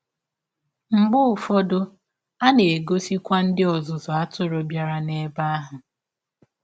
Mgbe ụfọdụ, a na a na - egọsikwa ndị ọzụzụ atụrụ bịara n’ebe ahụ.